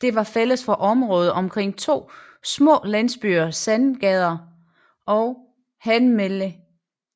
Den var fælles for området omkring to små landsbyer Sandager og Handermelle